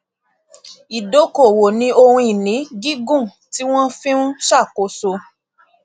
ìdókòwò ní ohun ìní gígùn tí wón fi n ṣàkóso